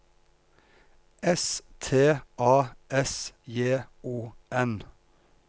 S T A S J O N